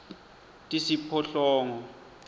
tisiphohlongo